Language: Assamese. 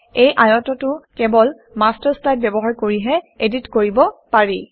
এই আয়তটো কেৱল মাষ্টাৰ শ্লাইড ব্যৱহাৰ কৰিহে এডিট কৰিব পাৰি